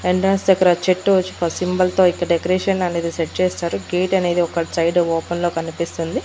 Entrance దగ్గర చెట్టు వచ్చి ఒక సింబల్ తో ఇంకా డెకరేషన్ అనేది సెట్ చేస్తారు గేట్ అనేది ఒకటి సైడ్ ఓపెన్ లో కనిపిస్తుంది.